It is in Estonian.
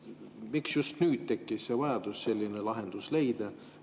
Miks just nüüd tekkis vajadus selline lahendus leida?